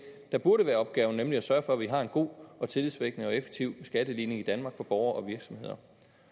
der burde være opgaven nemlig at sørge for at vi har en god og tillidsvækkende og effektiv skatteligning i danmark for borgere og virksomheder